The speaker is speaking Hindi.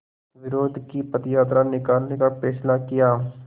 विरोध की पदयात्रा निकालने का फ़ैसला किया